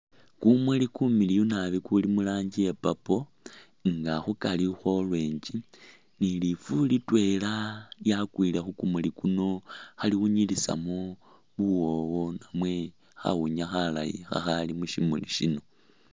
Kumuli kumiliyu nabi kuli mu ranji ya purple nga khukari orange ni lifu litwela lyakwile khu kumuki kuno khaliwunyilisamu buwoowo namwe khawunya khalayi khakhali mushimuli shino